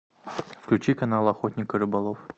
включи канал охотник и рыболов